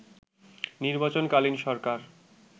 নির্বাচন-কালীন সরকার